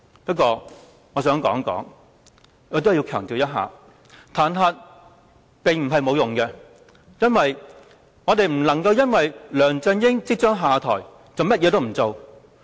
不過，我想強調，彈劾並不是沒有用的，原因是我們不能因為梁振英即將下台便甚麼也不做。